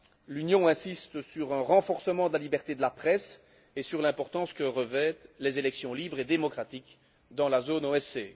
L'Union insiste sur un renforcement de la liberté de la presse et sur l'importance que revêtent les élections libres et démocratiques dans la zone OSCE.